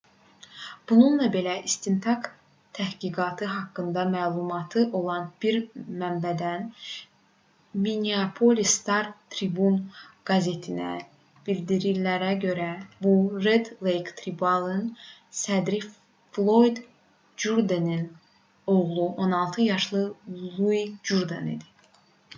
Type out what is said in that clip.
bununla belə istintaq təhqiqatı haqqında məlumatı olan bir mənbədən minneapolis star-tribune qəzetinə bildirilənlərə görə bu red lake tribal"ın sədri floyd jurdenin oğlu 16 yaşlı lui jurden idi